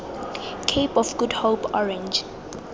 cape of good hope orange